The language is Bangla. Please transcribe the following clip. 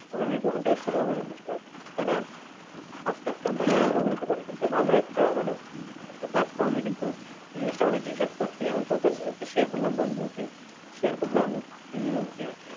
ওখানে দোকান থেকে শুরু হবে কিন্তু start তাই না? আসতে আসতে ভালো একটা মানে একটা platform এ কিন্তু এই জিনিসটা অনেক research করছি এখন তোর কাছে share করলাম বন্ধু তুই share করলাম